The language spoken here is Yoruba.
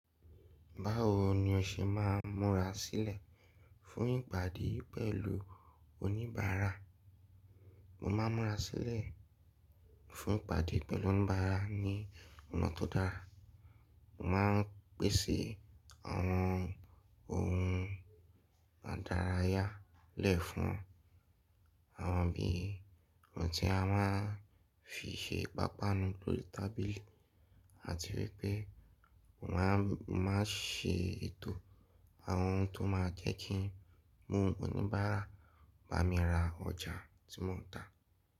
Báwo ni o ṣe máa ń múra sílẹ̀ fún ìpàdé pẹ̀lú oníbàárà? Mo máa ń múra sílẹ̀ fún ìpàdé pẹ̀lú oníbàárà ní ọ̀nà tó dára. Mo máa ń pèsè àwọn ohun àdárayá lẹ̀ fún wọn, àwọn bí i ohun tí a máa ń fi ṣe pápánu lórí tábìlì àti wípé mo máa ń ṣe ètò àwọn ohun tó máa jẹ́ kí mú oníbàárà bá mi ra ọjà tí mo ń tà.